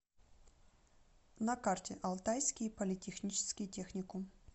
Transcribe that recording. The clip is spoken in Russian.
на карте алтайский политехнический техникум